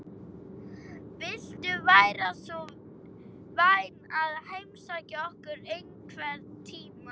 Viltu vera svo vænn að heimsækja okkur einhvern tímann?